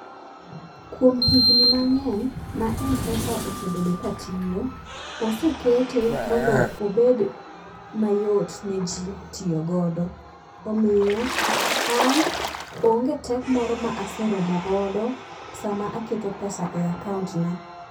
Kuom higni mang'eny ma M-pesa osebedo katiyo, osekete mondo obed mayot ne ji tiyogodo. Omiyo an onge tek moro ma aseromo godo sama aketo pesa e akaontna.